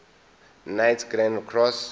knights grand cross